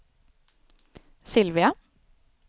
Sylvia